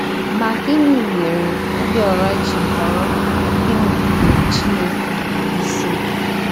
Ma, gịnị mere Obiora ji họrọ inupụrụ Chineke isi?